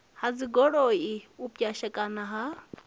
ha dzigoloi u pwashekana ha